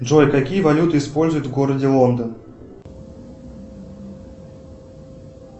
джой какие валюты используют в городе лондон